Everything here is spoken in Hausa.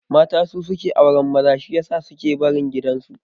Mata su suke auran maza shi yasa su suke barin gidan su